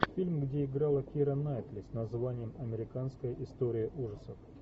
фильм где играла кира найтли с названием американская история ужасов